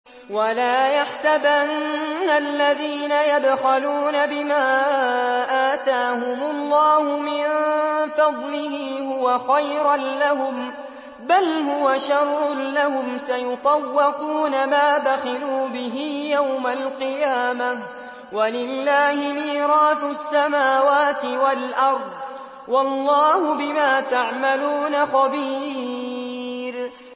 وَلَا يَحْسَبَنَّ الَّذِينَ يَبْخَلُونَ بِمَا آتَاهُمُ اللَّهُ مِن فَضْلِهِ هُوَ خَيْرًا لَّهُم ۖ بَلْ هُوَ شَرٌّ لَّهُمْ ۖ سَيُطَوَّقُونَ مَا بَخِلُوا بِهِ يَوْمَ الْقِيَامَةِ ۗ وَلِلَّهِ مِيرَاثُ السَّمَاوَاتِ وَالْأَرْضِ ۗ وَاللَّهُ بِمَا تَعْمَلُونَ خَبِيرٌ